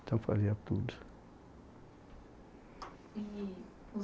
Então fazia tudo. E o